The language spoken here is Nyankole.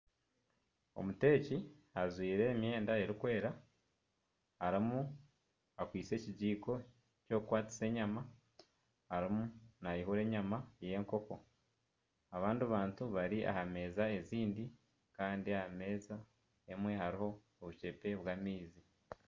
Omuteeki ajwaire emyenda erikwera, arimu akwaitse ekijiiko ky'okukwatisa enyama. Arimu naihura enyama y'enkoko. Abandi bantu bari aha meeza ezindi. Kandi aha meeza emwe hariho obucepe bw'amaizi.